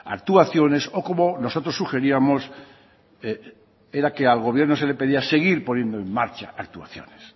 actuaciones o como nosotros sugeríamos era que al gobierno se le pedía seguir poniendo en marcha actuaciones